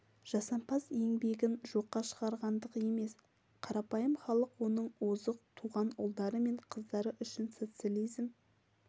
жасампаз еңбегін жоққа шығарғандық емес қарапайым халық оның озық туған ұлдары мен қыздары үшін социализм